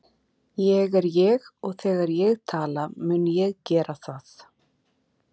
Ég er ég og þegar ég vil tala mun ég gera það.